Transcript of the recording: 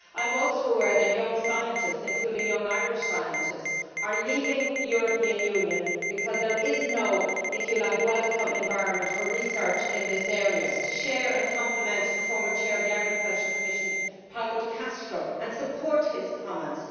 I am also aware that young scientists, including young Irish scientists, are leaving the European Union because there is not a welcoming environment for research in this area. I would like to compliment the former Chair of the Agriculture Commission, Paolo De Castro, and support his comments.